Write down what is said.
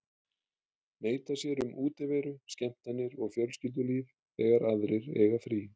Neita sér um útiveru, skemmtanir og fjölskyldulíf þegar aðrir eiga frí.